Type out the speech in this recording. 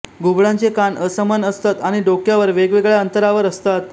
घुबडांचे कान असमान असतात आणि डोक्यावर वेगवेगळ्या अंतरावर असतात